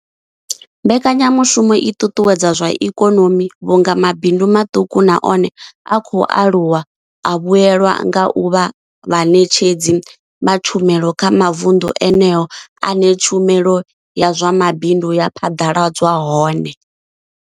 Mbekanyamushumo i ṱuṱuwedza zwa ikonomi vhunga mabindu maṱuku na one a khou aluwa a vhuelwa nga u vha vhaṋetshedzi vha tshumelo kha mavundu eneyo ane tshumelo ya zwa mabindu ya phaḓaladzwa hone.